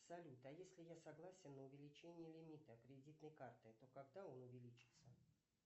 салют а если я согласен на увеличение лимита кредитной карты то когда он увеличится